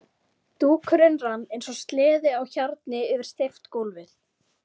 Dúkurinn rann eins og sleði á hjarni yfir steypt gólfið.